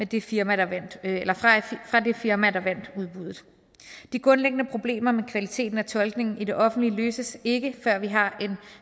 det firma firma der vandt udbuddet de grundlæggende problemer med kvaliteten af tolkningen i det offentlige løses ikke før vi har